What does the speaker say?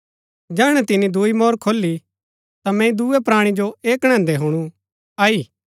जैहणै तिनी दूई मोहर खोली ता मैंई दूये प्राणी जो ऐह कणैदैं हुणु आई